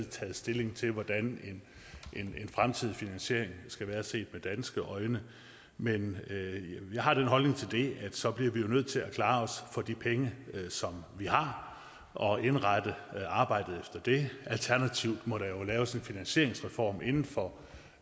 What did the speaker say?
taget stilling til hvordan en fremtidig finansiering skal være set med danske øjne men jeg har den holdning til det at så bliver vi jo nødt til at klare os for de penge som vi har og indrette arbejdet efter det alternativt må der jo laves en finansieringsreform inden for